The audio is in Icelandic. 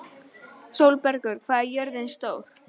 Sólbergur, hvað er jörðin stór?